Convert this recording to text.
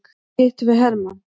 Þar hittum við hermann.